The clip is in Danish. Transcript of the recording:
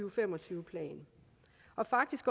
og fem og tyve plan og faktisk